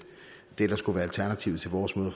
det der skulle være alternativet til vores måde at